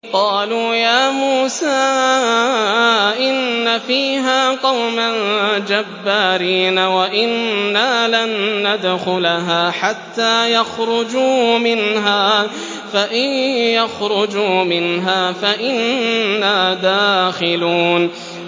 قَالُوا يَا مُوسَىٰ إِنَّ فِيهَا قَوْمًا جَبَّارِينَ وَإِنَّا لَن نَّدْخُلَهَا حَتَّىٰ يَخْرُجُوا مِنْهَا فَإِن يَخْرُجُوا مِنْهَا فَإِنَّا دَاخِلُونَ